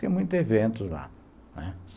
Tinha muitos eventos lá.